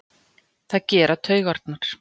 Það gera taugarnar.